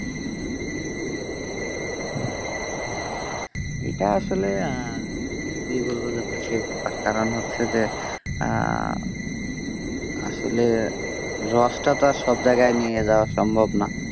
এটা আসলে কি বলব যে তার কারণ হচ্ছে যে আহ আসলে রসটা তো আর সব জায়গায় নিয়ে যাওয়া সম্ভব না।